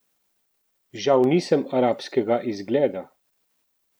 Žal nisem arabskega izgleda!